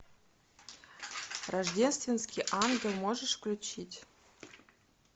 рождественский ангел можешь включить